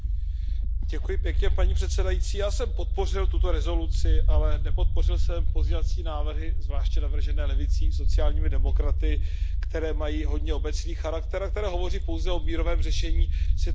Paní předsedající, já jsem podpořil tuto rezoluci, ale nepodpořil jsem pozměňovací návrhy, zvláště navržené levicí, sociálními demokraty, které mají hodně obecný charakter a které hovoří pouze o mírovém řešení situace ve Venezuele.